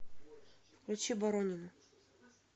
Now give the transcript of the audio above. включи боронину